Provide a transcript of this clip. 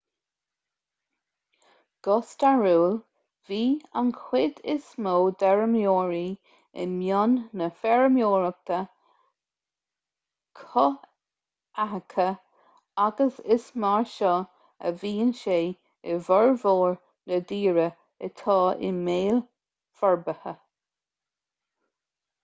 go stairiúil bhí an chuid is mó d'fheirmeoirí i mbun na feirmeoireachta cothaitheacha agus is mar seo a bhíonn sé i bhformhór na dtíortha atá i mbéal forbartha